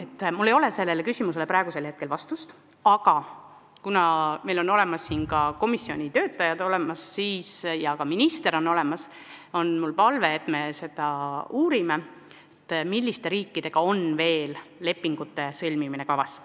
Ja mul ei ole sellele küsimusele praegu vastust, aga kuna saalis on ka komisjoni töötajad ja minister samuti, siis on mul palve uurida, milliste riikidega on veel sellise lepingu sõlmimine kavas.